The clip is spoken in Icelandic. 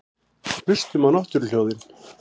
Hlustum á náttúruhljóðin.